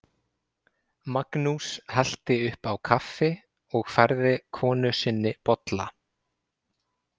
Magnús hellti upp á kaffi og færði konu sinni bolla.